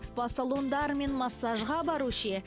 спа салондар мен массажға бару ше